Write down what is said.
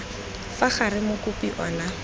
fa gare mokopi o na